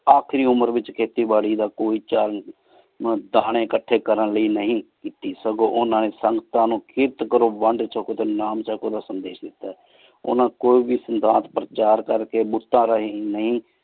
ਆਖਰੀ ਉਮਰ ਵਿਚਖੇਤੀ ਬਾਰੀ ਕੋਈ ਚਲ ਨੀ ਦਿਤਾ ਮੁਰ ਦਾਨੀ ਇਕਠੀ ਕਰਨ ਲੈ ਨਹੀ ਕੀਤੀ ਕੀ ਸਗੋਂ ਓਹਨਾ ਨੀ ਸੰਗਤਾਂ ਨੂ ਖਿਰਤ ਕਰੋ ਵੰਡ ਕਰੋ ਨਾਮ ਕਰੋ ਚਕ ਰਸਮ ਡੀ ਦਿਤਾ ਹੈ ਨੀ ਕੋਈ ਵ ਸਿੰਦੰਤ ਪਰਚਾਰ ਕਰ ਕੀ ਰਹਿਣ